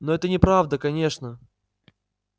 но это неправда конечно